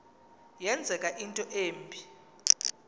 yenzeka into embi